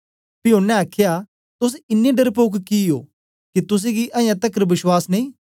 पी ओनें आखया तोस इन्नें डरपोक कि ओ के तुसेंगी अजां तकर बश्वास नेई